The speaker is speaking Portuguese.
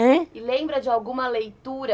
E lembra de alguma leitura?